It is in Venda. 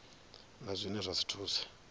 na zwine zwa si thuse